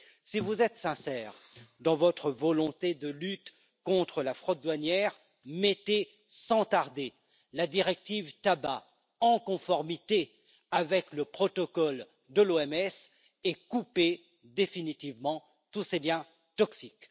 Si vous êtes sincère dans votre volonté de lutte contre la fraude douanière, mettez sans tarder la directive sur le tabac en conformité avec le protocole de l'OMS et coupez définitivement tous ces biens toxiques.